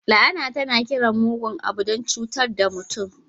La'ana tana kiran mugun abu don cutar da mutum.